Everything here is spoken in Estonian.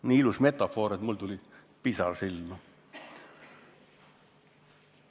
Nii ilus metafoor, et mul tuli pisar silma.